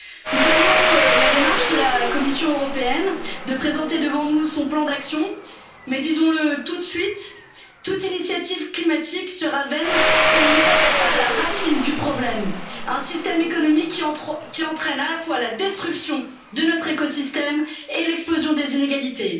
Nous saluons la démarche de la Commission européenne de présenter devant nous son plan d'action, mais disons le tout de suite, toute initiative climatique sera vaine si elle ne s'attaque pas à la racine du problème un système économique qui entraîne à la fois la destruction de notre écosystème et l'explosion des inégalités.